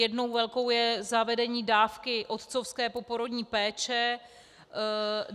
Jednou velkou je zavedení dávky otcovské poporodní péče.